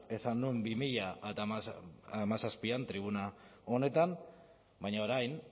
esan nuen bi mila hamazazpian tribuna honetan baina orain